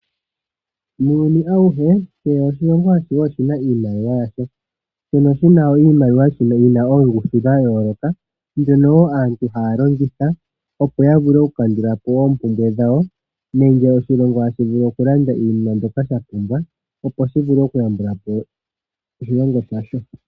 Muuyuni awuhe kehe oshilongo oshina iimaliwa yasho mono tuna mo iimaliwa yina oongushu dhayooloka, mbyono aantu haya longitha opo yavule okukandulapo oompumbwe dhawo nenge oshilongo tashi vulu okulanda iinima ndyoka shapumbwa opo shivule okuyambulapo eliko lyasho.